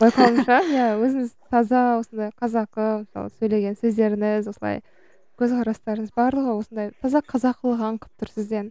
байқауымша иә өзіңіз таза осындай қазақы мысалы сөйлеген сөздеріңіз осылай көзқарастарыңыз барлығы осындай таза қазақылық аңқып тұр сізден